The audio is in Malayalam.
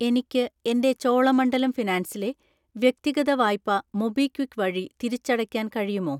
എനിക്ക് എൻ്റെ ചോളമണ്ഡലം ഫിനാൻസിലെ വ്യക്തിഗത വായ്പ മൊബിക്വിക്ക് വഴി തിരിച്ചടയ്ക്കാൻ കഴിയുമോ?